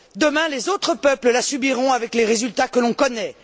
Demain, les autres peuples la subiront, avec les résultats que l'on connaît.